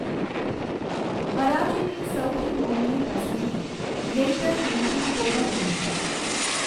હરાજીની સૌથી મોંઘી પસંદગી રેઈડર નીતિન તોમરની હતી.